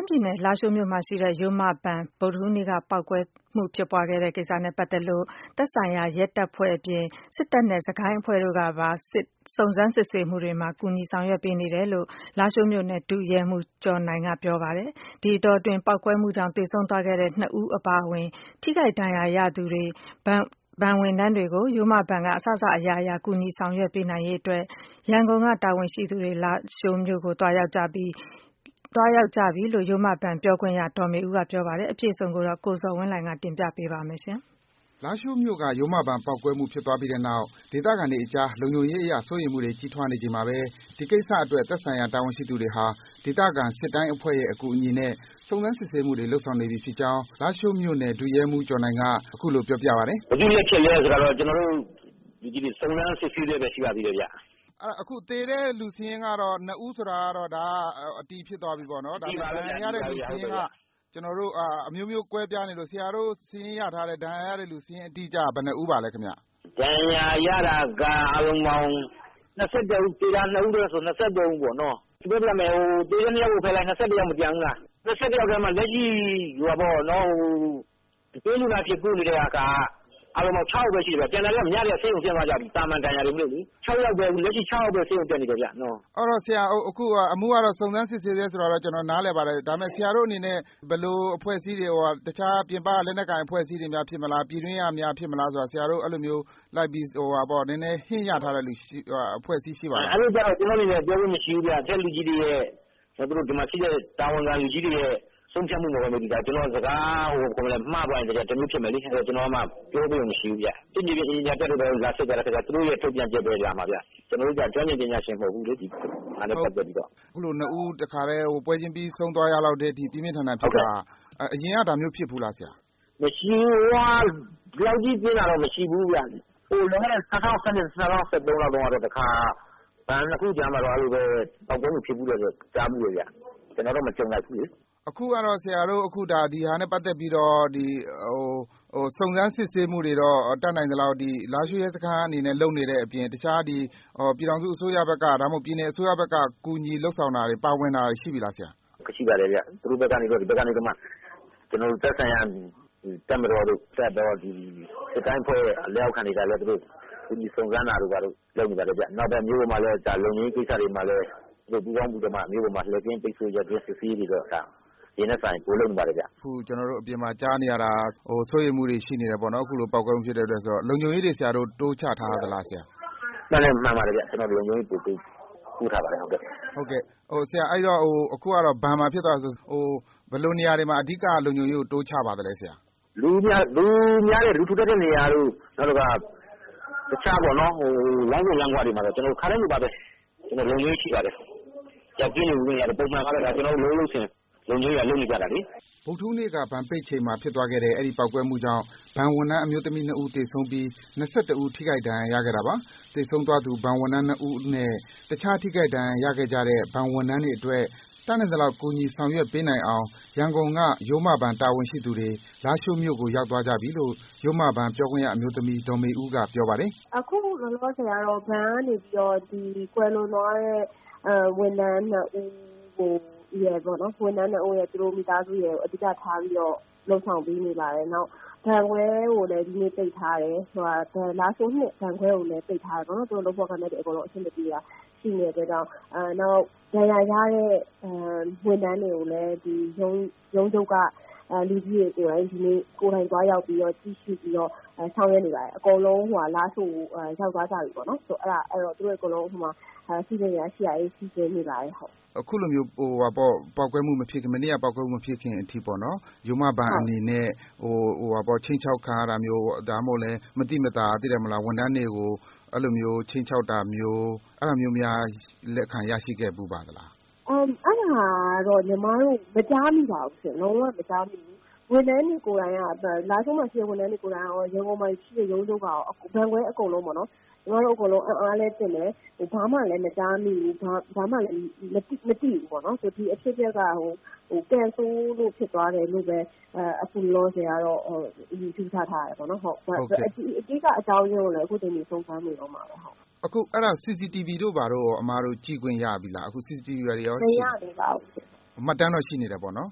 မ်းပြည်နယ် လားရှိုးမြို့မှာရှိတဲ့ ရိုးမဘဏ် ဗုဒ္ဒဟူးနေ့က ပေါက်ကွဲဖြစ်သွားခဲ့တဲ့ကိစ္စနဲ့ ပတ်သက်လို့ သက်ဆိုင်ရာ ရဲတပ်ဖွဲ့အပြင် စစ်တပ်နဲ့ စစ်တိုင်းအဖွဲ့တို့ကပါ စုံစမ်း စစ်ဆေးမှုတွေံမှာ ကူညီ ဆောင်ရွက်ပေးနေတယ်လို့ လားရှိုးမြို့နယ် ဒုရဲမှူး ကျော်နိုင်က ပြောပါတယ်။ ဒီတောအတွင်း ပေါက်ကွဲမှုကြောင့် သေဆုံးသွားခဲ့တဲ့ ၂ ဦးအပါအဝင် ထိခိုက် ဒဏ်ရာရသူ ဘဏ်ဝန်ထမ်းတွေကို ရိုးမဘဏ်က အစစအရာရာ ကူညီ ဆောင်ရွက်ပေးနိုင်ရေးအတွက် ရန်ကုန်က တာဝန်ရှိသူတွေ လားရှိုးမြို့ကို ရောက်သွားကြပြီလို့ ရိုးမဘဏ် ပြောခွင့်ရ ဒေါ်မေဦးက ပြောပါတယ်။ အပြည့်အစုံကိုတော့ ကိုဇော်ဝင်းလှိုင်က တင်ပြပေးပါမယ်။ လားရှိုးမြို့က ရိုးမဘဏ် ပေါက်ကွဲမှု ဖြစ်သွားခဲ့ပြီးတဲ့နောက် ဒေသခံတွေအကြား လုံခြုံရေးအရ စိုးရိမ်မှုတွေ ကြီးထွားနေချိန်မှာဘဲ ဒီကိစ္စအတွက် သက်ဆိုင်ရာ တာဝန်ရှိသူတွေဟာ ဒေသခံ စစ်တိုင်းအဖွဲ့ရဲ့ အကူအညီနဲ့ စုံစမ်း စစ်ဆေးမှုတွေ လုပ်ဆောင်နေပြီဖြစ်ကြောင်း လားရှိုးမြို့နယ် ဒုရဲမှူး ကျော်နိုင်က အခုလို ပြောပြပါတယ်။ ဘယ်သူ့လက်ချက်လဲဆိုတာတော့ ကျနော်တို့လူကြီးတွေ စုံစမ်းစစ်ဆေးဆဲပဲ ရှိပါသေးတယ်ခင်ဗျ။" ဒါဆို သေတဲ့သူစာရင်းကတော့ နှစ်ဦးဆိုတာ အတည်ဖြစ်သွားပြီပေါ့နော် ဒဏ်ရာရတဲ့သူစာရင်းက အမျိုးမျိုးကွဲပြားနေတော့ ဆရာတို့ စာရင်းရထားတာ အတိအကျ ဘယ်နှစ်ဦးလဲခင်ဗျ။ ဒဏ်ရာရတာက ၂၁ဦး။ သေတာက ၂ဦး။ ပေါင်း ၂၃ဦးပေါ့နော်။ ၂၁ယောက်ထဲမှာ လက်ရှိ အတွင်းလူနာအဖြစ် ကုနေတာက အားလုံးပေါင်း ၆ယောက်ပဲ ကျန်မယ်။ ကျန်တာက ဆေးရုံကနေ ညကတည်းက ဆင်းသွားကြပြီ။ သာမာန်ဒဏ်ရာတွေမို့လေ။ လက်ရှိ ခြောက်ယောက်ပဲ ဆေးရုံတက်နေတယ်ဗျ။ အမှုကတော့ စုံစမ်းစစ်ဆေးဆဲဆိုတာကတော့ ကျနော် နားလည်ပါတယ် ဒါပေမဲ့ ဆရာတို့အနေနဲ့ တခြားပြင်ပက လက်နက်ကိုင်အဖွဲ့အစည်းက ဖြစ်မလား။ ပြည်တွင်းက ဖြစ်မလားဆိုတာ ဆရာတို့ သတင်းရထားတဲ့အဖွဲ့အစည်းများ ရှိပါသလား။ အဲ့လိုတော့ မရှိပါဘူး အထက်တာဝန်ရှိသူတွေရဲ့ ဆုံးဖြတ်မှုပေါ်မှာပဲ မူတည်ပါတယ် ကျနော် စကားမှားသွားရင်လည်း တော်ကြာ တမျိုးဖြစ်မယ်လေ။ ကျနော်မှာ ပြောပိုင်ခွင့်မရှိဘူး။ လာစစ်သွားတဲ့သူတွေရဲ့ သူတို့ရဲ့ ထုတ်ပြန်ချက်ပဲခင်ဗျ။ ကျနော်တို့က ဒါနဲ့ပတ်သက်ပြီးတော့ ကျွမ်းကျင်ပညာရှင်လည်း မဟုတ်ဘူးလေ။" အခုလိုမျိုး နှစ်ဦး ပွဲချင်းပြီး သေဆုံးသွားရတာမျိုး ပြင်းပြင်း ထန်ထန်ဖြစ်သွားတာဆိုတော့ အရင်ကရော ဒါမျိုး ဖြစ်ဖူးလားခင်ဗျ။ ဒီလောက်ကြီးပြင်းထန်တာတော့ မဖြစ်ဖူးဘူးခင်ဗျ။ လွန်ခဲ့တဲ့ ၂၀၁၂ ၊ ၂၀၁၃ လောက်ကြားမှာတော့ တခါ ဘဏ်နှစ်ခုကြားမှာပဲ ပေါက်ကွဲမှုဖြစ်တယ် ကြားဖူးတယ်ခင်ဗျ။ ကျနော်တော့ မကြုံလိုက်ဘူးလေ။ ' ဆရာတို့ဘက်ကတော့ တတ်နိုင်သလောက် စုံစမ်းစစ်ဆေးမှုတွေကို လားရှိုးမြို့ပေါ်မှာ ရဲစခန်းဘက်က လုပ်နေတာအပြင် ပြည်ထောင်စုအစိုးရဘက်ကရော ပြည်နယ်အစိုးရဘက်က ကူညီလုပ်ဆောင်ပါဝင်တာတွေ ရှိပြီလား။ ရှိပါတယ်ဗျ။ သူတို့ဘက်က သက်ဆိုင်ရာအဖွဲ့တွေ တပ်မတော်တို့ စစ်တပ်အဖွဲ့ တို့ဘက်က ကူညီစုံစမ်းတာတို့ လုပ်ပါတယ်ခင်ဗျ။ နောက် မြို့ပေါ်က လုံခြုံရေးကိုလည်း သူတို့ ပူးပေါင်းပြီးတော့မှ လှည့်ကင်းပတ် စစ်ဆေးတာတွေကို အရင်ကထက်စာရင် ပိုလုပ်နေပါတယ်ခင်ဗျ။" ပေါက်ကွဲမှုတွေဖြစ်တော့ လုံခြုံရေးစိုးရိမ်မှုတွေလည်းရှိတော့ လုံခြုံရေးတိုးချ ထားတာရှိပါသလား။ မှန်ပါတယ်ခင်ဗျ။ ကျနော်တို့ လုံခြုံရေးတွေ တိုးချထားပါတယ်.။ အခုက ဘဏ်မှာဖြစ်သွားတာဆိုတော့ ဘယ်လိုနေရာတွေမှာ လုံခြုံရေးကို တိုးချပါသလဲ။ လူထူထပ်တဲ့နေရာတို့ လမ်းဆုံလမ်းခွတွေမှာတော့ ပိုတိုးချပါတယ် ခါတိုင်းလည်း ပုံမှန် လုပ်ရုံးလုပ်စဉ် လုံခြုံရေးက လုပ်နေကျပါလေ။" ဗုဒ္ဓဟူးနေ့ ဘဏ်ပိတ်ချိန်မှာ ဖြစ်သွားခဲ့တဲ့ အဲဒီ ပေါက်ကွဲမှုကြောင့် ဘဏ်ဝန်ထမ်း အမျိုးသမီး ၂ ဦး သေဆုံးပြီး ၂၁ ဦး ထိခိုက် ဒဏ်ရာရခဲ့တာပါ။ သေဆုံးသွားသူ ဘဏ်ဝန်ထမ်း ၂ ဦးနဲ့ တခြား ထိခိုက် ဒဏ်ရာရခဲ့ကြတဲ့ ဘဏ်ဝန်ထမ်းတွေအတွက် တတ်နိုင်သလောက် ကူညီဆောင်ရွက်ပေးနိုင်အောင် ရန်ကုန်က ရိုးမဘဏ် တာဝန်ရှိသူတွေ လားရှိုးမြို့ကို ရောက်သွားကြပြီလို့ ရိုးမဘဏ် ပြောခွင့်ရအမျိုးသမီး ဒေါ်မေဦးက ပြောပါတယ်။ အခုလောလောဆယ်ကတော့ ဘဏ်ကနေပြီးတော့ ကွယ်လွန်သွားတဲ့ ဝန်ထမ်းနှစ်ဦးရယ် သူတို့မိသားစုရယ်ကို အဓိက ထားပြီးတော့ လုပ်ဆောင်ပေးနေပါတယ် နောက်ပြီးတော့ ဘဏ်ခွဲကိုလည်း ဒီနေ့ပိတ်ထားတယ်။ လားရှိုး ၂ ဘဏ်ခွဲကိုလည်း ပိတ်ထားပါတယ်။ သူတို့လုပ်ဖော်ကိုင်ဖက်တွေ အဆင်မပြေတာ ရှိနိုင်တဲ့အတွက်ကြောင့် နောက်ဒဏ်ရာရတဲ့ဝန်ထမ်းတွေကိုလည်း ရုံးချုပ်က လူကြီးတွေကိုယ်တိုင် ဒီနေ့ ကိုယ်တိုင်သွားရောက်ကြည့်ရှု့ပြီးတော့ ဆောင်ရွက်နေပါတယ်။ အကုန်လုံး လားရှိုးကို ရောက်သွားကြပြီပေါ့နော်။ စီစဉ်စရာရှိတာတွေ စီစဉ်နေပါတယ်။" အခုလိုမျိုး မနေ့က ပေါက်ကွဲမှု မဖြစ်ခင် အထိပေါ့ ရိုးမဘဏ်အနေနဲ့ ခြိမ်းခြောက်ခံရတာမျိုး မသိမသာ ဝန်ထမ်းတွေကို ခြိမ်းခြောက်တာမျိုး အဲ့တာမျိုး လက်ခံရရှိခဲ့ဖူးပါလား။ အဲ့တာတော့ ညီမတို့ မကြားမိပါဘူး။ လုံးဝ မကြားမိဘူး။ လားရှိုးမှာ ရှိတဲ့ ဝန်ထမ်းတွေ ကိုယ်တိုင်ရော ရန်ကုန်မှာ ရှိတဲ့ ဝန်ထမ်းတွေကိုယ်တိုင်ရော ရုံးချုပ်ကရော ဘဏ်ခွဲအကုန်လုံးပေါ့နော် ဘာမှလည်း မကြားမိဘူး။ ဘာမှ မသိဘူးပေါ့နော် ဒီအဖြစ်အပျက်က ကံဆိုးလို့ဖြစ်သွားတယ်လို့ပဲ အခုလောလောဆယ်ကတော့ ယူဆထားတယ်။ အဓိက အကြောင်းရင်းကိုတော့ အခုထက်ထိ စုံစမ်းနေတုန်းပါပဲ။" CCTV တို့ ဘာတို့ရော အစ်မတို့ ကြည့်ခွင့်ရပြီလား။ မရသေးပါဘူးရှင့်။" မှတ်တမ်းတော့ ရှိပြီပေါ့နော်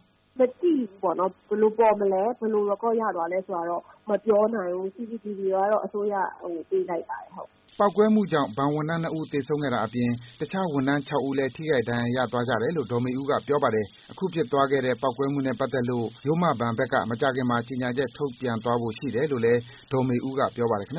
။ မသိဘူးရှင့်။ ဘယ်လိုပေါ်မလဲ။ ဘယ်လို Record ရသွားလဲဆိုတာတော့ မပြောနိုင်ဘူး။ CCTV ကတော့ အစိုးရကို ပေးလိုက်ပါတယ်။" ပေါက်ကွဲမှုကြောင့် ဘဏ်ဝန်ထမ်း ၂ ဦး သေဆုံးခဲ့တာအပြင် တခြား ဝန်ထမ်း ၆ ဦးလည်း ထိခိုက် ဒဏ်ရာရသွားကြတယ်လို့ ဒေါ်မေဦးက ပြောပါတယ်။ အခုဖြစ်သွားတဲ့ ပေါက်ကွဲမှုနဲ့ ပတ်သက်လို့ ရိုးမဘဏ်ဘက်က မကြာခင်မှာ ကြေညာချက် ထုတ်ပြန်သွားဖို့ ရှိတယ်လို့လည်း ဒေါ်မေဦးက ပြောပါတယ် ခင်ဗျ